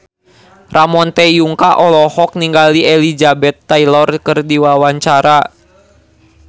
Ramon T. Yungka olohok ningali Elizabeth Taylor keur diwawancara